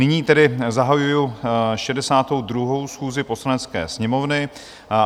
Nyní tedy zahajuji 62. schůzi Poslanecké sněmovny.